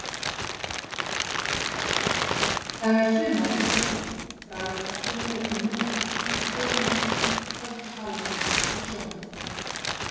Það er sumar í loftinu, bragð af sumri í munni, af sólinni, kvöldsvalanum og sjónum.